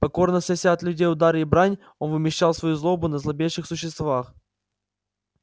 покорно снося от людей удары и брань он вымещал свою злобу на слабейших существах